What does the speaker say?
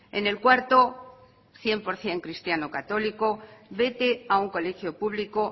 en el cuarto cien por ciento cristiano católico vete a un colegio público